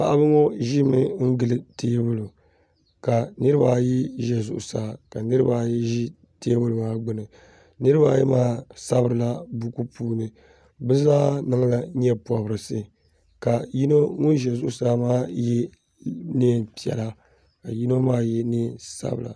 Paɣiba ŋɔ ʒimi n-ɡili teebuli ka niriba ayi ʒe zuɣusaa ka niriba ayi ʒi teebuli maa ɡbuni niriba ayi maa sabirila buku puuni bɛ zaa niŋla nyɛpɔbirisi ka yino ŋun ʒe zuɣusaa maa ye neem' piɛla ka yino maa ye neen' sabila